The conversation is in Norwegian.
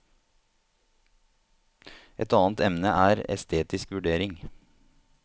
Et annet emne er estetisk vurdering.